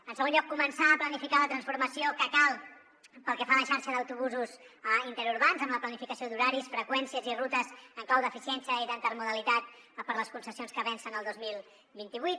en segon lloc començar a planificar la transformació que cal pel que fa a la xarxa d’autobusos interurbans amb la planificació d’horaris freqüències i rutes en clau d’eficiència i d’intermodalitat per a les concessions que vencen el dos mil vint vuit